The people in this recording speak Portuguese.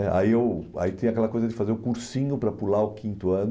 né aí eu, Aí, tem aquela coisa de fazer o cursinho para pular o quinto ano.